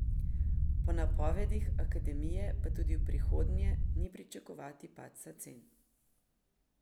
Po napovedih akademije pa tudi v prihodnje ni pričakovati padca cen.